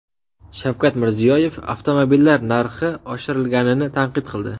Shavkat Mirziyoyev avtomobillar narxi oshirilganini tanqid qildi.